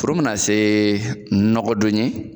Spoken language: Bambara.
Foro mana se nɔgɔdon ye